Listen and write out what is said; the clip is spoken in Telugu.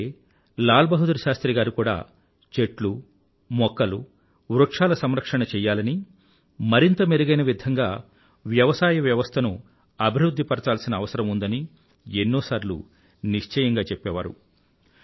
ఇలాగే లాల్ బహదూర్ శాస్త్రి గారు కూడా చెట్లు మొక్కలు వృక్షాల సంరక్షణ చెయ్యలనీ మరింత మెరుగైన విధంగా వ్యవసాయ వ్యవస్థను అభివృధ్ధి పరచాల్సిన అవసరం ఉందని ఎన్నోసార్లు నిశ్చయంగా చెప్పేవారు